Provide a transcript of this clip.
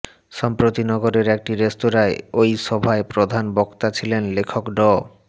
সম্প্রতি নগরের একটি রেস্তোরাঁয় ওই সভায় প্রধান বক্তা ছিলেন লেখক ড